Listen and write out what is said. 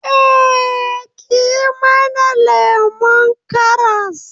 Eh, ki yi mana lemon karas